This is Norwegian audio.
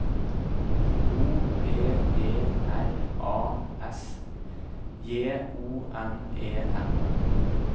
O P E R A S J O N E N